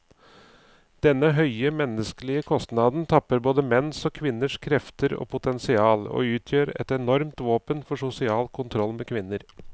Denne høye menneskelige kostnaden tapper både menns og kvinners krefter og potensial, og utgjør et enormt våpen for sosial kontroll med kvinner.